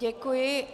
Děkuji.